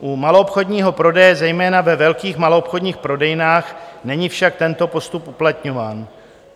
U maloobchodního prodeje, zejména ve velkých maloobchodních prodejnách, není však tento postup uplatňován.